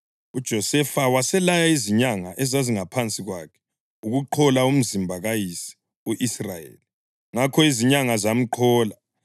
UJosefa waselaya izinyanga ezazingaphansi kwakhe ukuqhola umzimba kayise u-Israyeli. Ngakho izinyanga zamqhola,